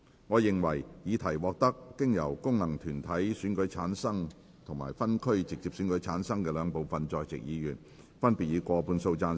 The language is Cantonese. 我認為議題獲得經由功能團體選舉產生及分區直接選舉產生的兩部分在席議員，分別以過半數贊成。